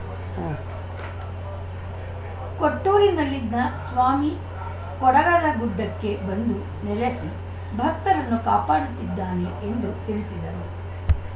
ಉಂ ಕೊಟ್ಟೂರಿನಲ್ಲಿದ್ದ ಸ್ವಾಮಿ ಕೊಡದಗುಡ್ಡಕ್ಕೆ ಬಂದು ನೆಲಸಿ ಭಕ್ತರನ್ನು ಕಾಪಾಡುತ್ತಿದ್ದಾನೆ ಎಂದು ತಿಳಿಸಿದರು